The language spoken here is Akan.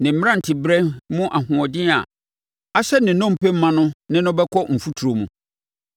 Ne mmeranteberɛ mu ahoɔden a ahyɛ ne nnompe ma no ne no bɛkɔ mfuturo mu.